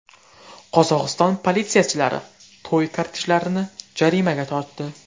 Qozog‘iston politsiyachilari to‘y kortejlarini jarimaga tortdi.